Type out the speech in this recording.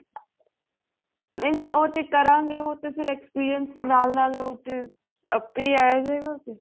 ਨਹੀਂ ਨਹੀਂ ਉਹ ਤੇ ਕਰਾਂਗੇ ਫ਼ੇਰ experience ਨਾਲ ਨਾਲ ਉੱਥੀ ਏਪੀ ਆ ਜੇਗਾ